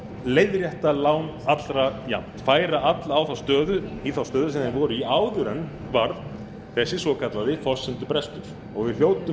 leiðrétta lán allra jafnt færa alla í þá stöðu sem þeir voru í áður en varð þessi svokallaði forsendubrestur og við hljótum